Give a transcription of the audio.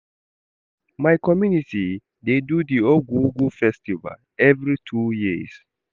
My community dey do di Ogwugwu festival every two years.